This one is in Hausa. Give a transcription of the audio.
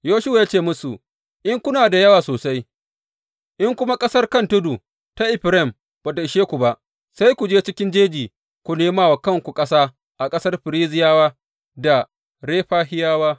Yoshuwa ya ce musu, In kuna da yawa sosai, in kuma ƙasar kan tudu ta Efraim ba ta ishe ku ba, sai ku je cikin jeji, ku nema wa kanku ƙasa a ƙasar Ferizziyawa da Refahiyawa.